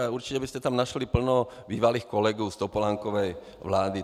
A určitě byste tam našli plno bývalých kolegů z Topolánkovy vlády.